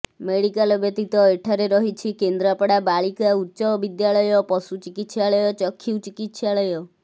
medical ବ୍ୟତୀତ ଏଠାରେ ରହିଛି କେନ୍ଦ୍ରାପଡା ବାଳିକା ଉଚ୍ଚବିଦ୍ୟାଳୟ ପଶୁ ଚିକିତ୍ସାଳୟ ଚକ୍ଷୁ ଚିକିତ୍ସାଳୟ